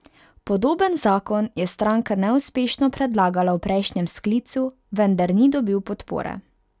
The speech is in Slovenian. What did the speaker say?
Podoben zakon je stranka neuspešno predlagala v prejšnjem sklicu, vendar ni dobil podpore.